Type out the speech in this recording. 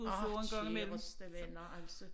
Åh kæreste venner altså